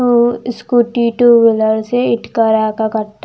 ऊ-स्कूटी two wheeler से इटकारा का कट--